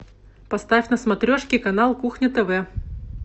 поставь на смотрешке канал кухня тв